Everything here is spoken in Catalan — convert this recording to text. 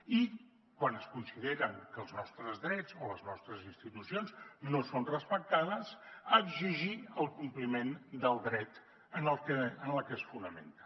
i quan es considera que els nostres drets o les nostres institucions no són respectades exigir el compliment del dret en el que es fonamenten